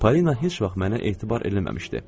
Polina heç vaxt mənə etibar eləməmişdi.